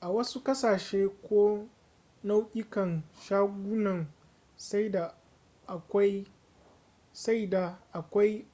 a wasu ƙasashe ko nau'ikan shagunan saida akwai